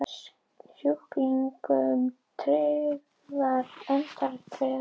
Sjúklingum tryggðar endurgreiðslur